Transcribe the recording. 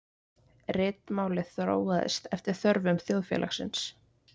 Ritmálið þróaðist eftir þörfum þjóðfélagsins.